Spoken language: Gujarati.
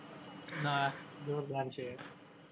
ના, જોરદાર છે.